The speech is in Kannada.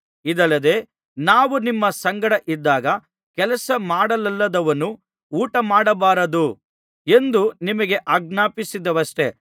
ಇದಲ್ಲದೆ ನಾವು ನಿಮ್ಮ ಸಂಗಡ ಇದ್ದಾಗ ಕೆಲಸ ಮಾಡಲೊಲ್ಲದವನು ಊಟಮಾಡಬಾರದು ಎಂದು ನಿಮಗೆ ಆಜ್ಞಾಪಿಸಿದೆವಷ್ಟೆ